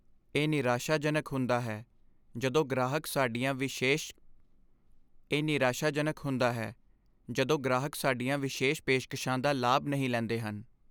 ਇਹ ਨਿਰਾਸ਼ਾਜਨਕ ਹੁੰਦਾ ਹੈ ਜਦੋਂ ਗ੍ਰਾਹਕ ਸਾਡੀਆਂ ਵਿਸ਼ੇਸ਼ ਪੇਸ਼ਕਸ਼ਾਂ ਦਾ ਲਾਭ ਨਹੀਂ ਲੈਂਦੇ ਹਨ।